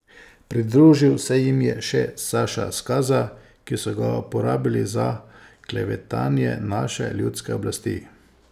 Pridružil se jim je še Saša Skaza, ki so ga uporabili za klevetanje naše ljudske oblasti.